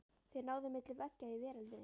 Þeir náðu milli veggja í veröldinni.